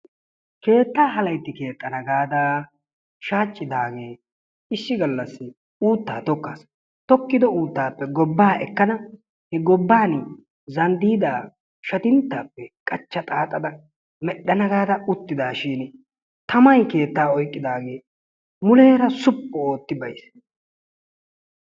Keettaa halayitti keexxana gaada shaaccidaagee issi gallassi uuttaa tokkas. tokkido uuttaappe gobbaa ekkada he gobbani zanddiidaa shatintaa qachcha xaaxada medhana gaada uttidaashiini tamay keettaa oyiqqidaagee muleera suppu ootti bayis.